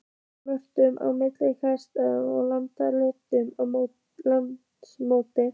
Mörk á milli einstakra laga nefnast lagamót.